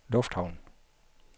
lufthavn